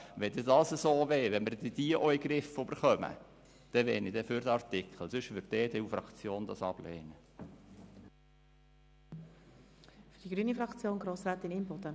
Wenn es so wäre und wir diese Onlinehändler auch noch in den Griff bekämen, würde ich für den Artikel votieren.